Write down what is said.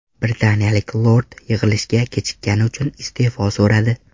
Britaniyalik lord yig‘ilishga kechikkani uchun iste’fo so‘radi .